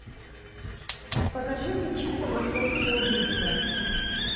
покажи мне чисто московские убийства